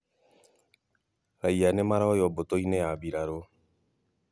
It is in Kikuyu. Raia nĩmaroywo mbũtũ-inĩ ya mbirarũ